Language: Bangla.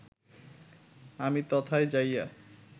আমি তথায় যাইয়া